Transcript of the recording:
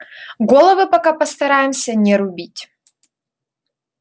головы пока постараемся не рубить